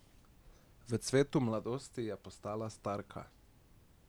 V cvetu mladosti je postala starka.